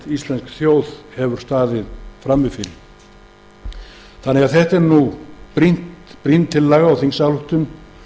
íslensk þjóð stendur frammi fyrir það er því brýn tillaga og þingsályktun